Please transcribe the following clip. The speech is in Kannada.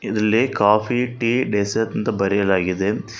ಇಲ್ಲಿ ಕಾಫಿ ಟೀ ಡೆಸರ್ಟ್ ಅಂತ ಬರೆಯಲಾಗಿದೆ.